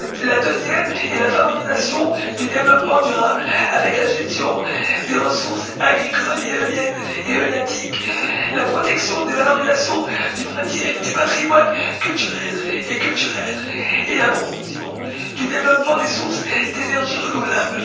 La deuxième est la favorisation du développement durable, avec la gestion des ressources agricoles et halieutiques, la protection et la valorisation du patrimoine naturel et cultuel et la promotion du développement des sources d'énergie renouvelable.